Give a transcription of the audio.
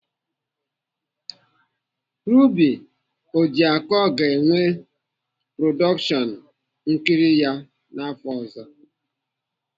Ruby Ojiako ga-enwe produkshon nkiri ya afọ ọ̀zọ́.